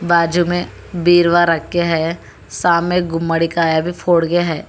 बाजू में वीरवार रखे है सामने गुम्मादी का अभी फोड़ गया है।